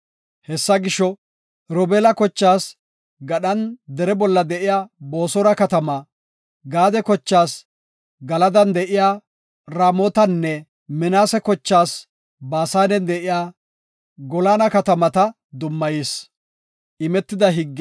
Hessa gisho, Robeela kochaas gadhan dere bolla de7iya Boosora katamaa, Gaade kochaas Galadan de7iya Ramootanne Minaase kochaas Baasanen de7iya Goolana katamata dummayis.